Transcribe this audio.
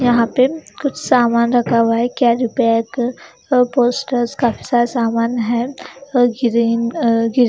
यहाँ पे कुछ सामान रखा हुआ है कैर्री बैग पोस्टर्स काफी सारा सामान है और ग्रीन अ ग्रीन --